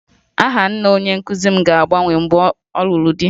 Aha nna onye nkụzi m ga-agbanwe mgbe ọ lụrụ di